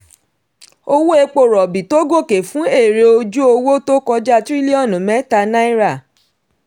owó epo rọ̀bì tó gòkè fún èrè ojú owó tó kọja tirilionu mẹta náírà.